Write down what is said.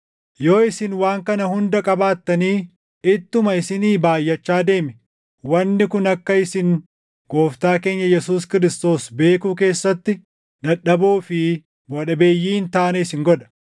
Yoo isin waan kana hunda qabaattanii ittuma isinii baayʼachaa deeme, wanni kun akka isin Gooftaa keenya Yesuus Kiristoos beekuu keessatti dadhaboo fi buʼaa dhabeeyyii hin taane isin godha.